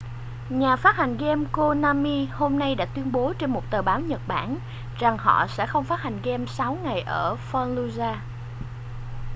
nhà phát hành game konami hôm nay đã tuyên bố trên một tờ báo nhật bản rằng họ sẽ không phát hành game sáu ngày ở fallujah